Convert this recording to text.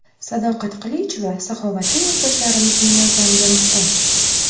Sadoqat Qilichova saxovatli yurtdoshlarimizning yordamiga muhtoj.